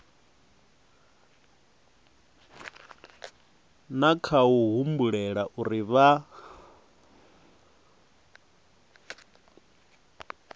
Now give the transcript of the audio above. na khou humbulela uri vha